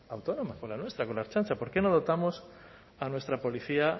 autónoma con la nuestra con la ertzaintza por qué no dotamos a nuestra policía